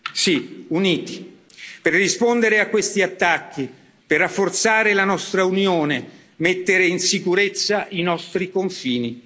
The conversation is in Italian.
Sì uniti, per rispondere a questi attacchi, per rafforzare la nostra unione, mettere in sicurezza i nostri confini.